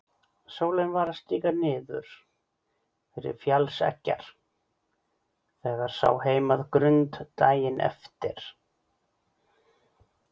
Sólin var að síga niður fyrir fjallseggjar þegar sá heim að Grund daginn eftir.